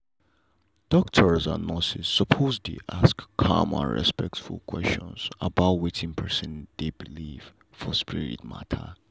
doctors and nurses suppose dey ask calm and respectful question about wetin person dey believe for spirit matter.